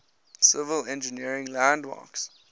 civil engineering landmarks